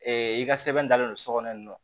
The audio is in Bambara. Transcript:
i ka sɛbɛn dalen don so kɔnɔ yen nɔ